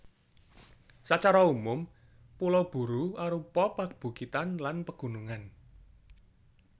Sacara umum Pulo Buru arupa pabukitan lan pegunungan